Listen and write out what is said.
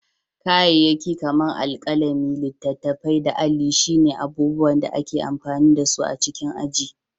Kayayyaki kamar alkalami, littattafai, da alli shi ce abubuwan da ake amfani da su a cikin aji.